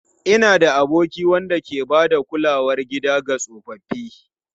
Ina da aboki wanda ke ba da kulawar gida ga tsofaffi.